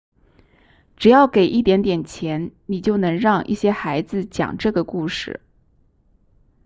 只要给一点点钱你就能让一些孩子讲这个故事